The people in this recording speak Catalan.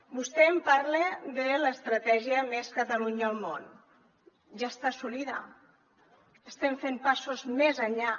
vostè em parla de l’estratègia més catalunya al món ja està assolida estem fent passos més enllà